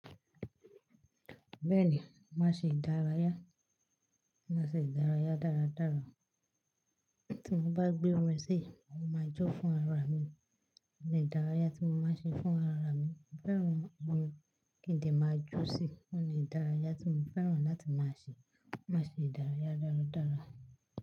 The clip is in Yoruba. Bẹ́ẹ̀ni, màá ṣe ìdárayá, màá ṣe ìdárayá dáradára. Tí mo bá gbé ọrẹ sí, mo máa jo fún ara mi. Òun ni idàrayá tí mo máa ń ṣe fún ara mi. Mo fẹ́ran orin kí n dè máa jó sí i. Ó ni ìdárayá tí mo fẹ́ran láti máa ṣe. Màá ṣe ìdárayá dáradára.